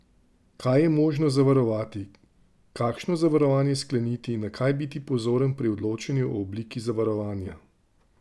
Kaj je možno zavarovati, kakšno zavarovanje skleniti, na kaj biti pozoren pri odločanju o obliki zavarovanja?